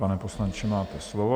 Pane poslanče, máte slovo.